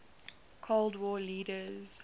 cold war leaders